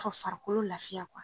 Ka farikolo lafiya